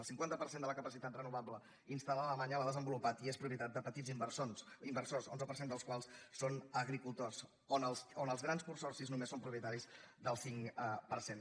el cinquanta per cent de la capacitat renovable instal·lada a alemanya l’han desenvolupat i és propietat de petits inversors l’onze per cent dels quals són agricultors on els grans consorcis només són propietaris del cinc per cent